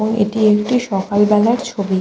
ও এটি একটি সকাল বেলার ছবি।